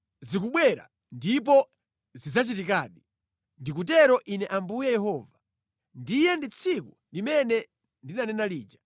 Zikubwera! Ndipo zidzachitikadi, ndikutero Ine Ambuye Yehova. Ndiye tsiku limene ndinanena lija.